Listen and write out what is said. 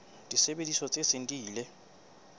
disebediswa tse seng di ile